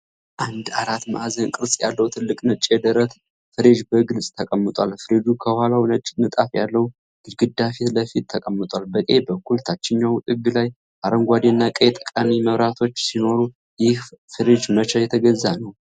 አንድ አራት ማዕዘን ቅርጽ ያለው ትልቅ ነጭ የደረት ፍሪጅ በግልጽ ተቀምጧል። ፍሪጁ ከኋላው ነጭ ንጣፍ ያለው ግድግዳ ፊት ለፊት ተቀምጧል። በቀኝ በኩል ታችኛው ጥግ ላይ አረንጓዴና ቀይ ጠቋሚ መብራቶች ሲኖሩ፣ ይህ ፍሪጅ መቼ የተገዛ ነው?